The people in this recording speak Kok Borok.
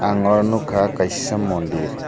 ang oro nogkha kaisa mondir.